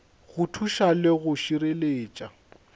go thuša le go šireletša